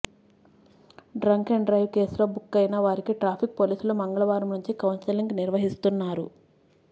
drunk and drive కేసులో బుక్కయిన వారికి ట్రాఫిక్ పోలీసులు మంగళవారం నుంచి కౌన్సిలింగ్ నిర్వహిస్తున్నారు